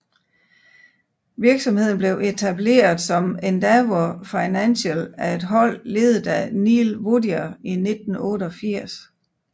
Virksomheden blev etableret som Endeavour Financial af et hold ledet af Neil Woodyer i 1988